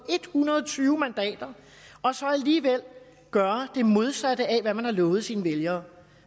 hundrede og tyve mandater og så alligevel gøre det modsatte af hvad man har lovet sine vælgere